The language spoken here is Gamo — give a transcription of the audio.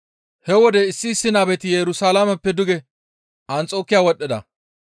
He wode issi issi nabeti Yerusalaameppe duge Anxokiya wodhdhida.